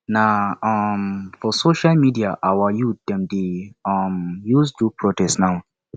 na um for social media our youth dem dey um use do protest now